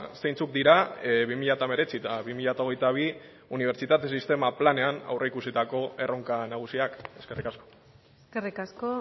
zeintzuk dira bi mila hemeretzi bi mila hogeita bi unibertsitate sistemaren planean aurreikusitako erronka nagusiak eskerrik asko eskerrik asko